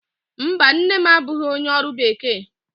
Mba, nne m abụghị onye ọrụ bekee